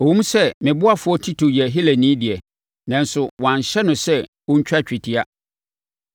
Ɛwom sɛ me ɔboafoɔ Tito yɛ Helani deɛ, nanso wɔanhyɛ no sɛ ɔntwa twetia.